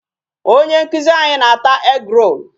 Onye nkụzi anyị na-ata egg-roll.